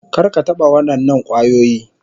Kar ka taɓa waɗannan kwayoyi.